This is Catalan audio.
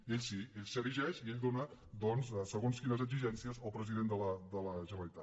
i ell sí ell s’erigeix i ell dóna doncs segons quines exigències al president de la generalitat